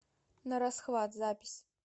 нарасхват запись